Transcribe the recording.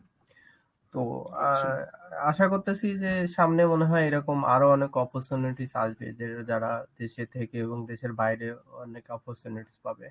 তো অ্যাঁ আশা করতাছি যে সামনে মনে হয় এরকম আরো অনেক opportunities আসবে যে যারা দেশে থেকে এবং দেশের বাইরে অনেক opportunity পাবে.